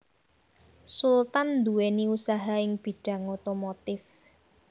Sultan nduwèni usaha ing bidhang otomotif